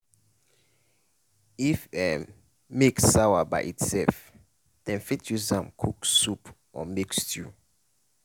if um milk sawa by itself dem fit use am cook soup or make stew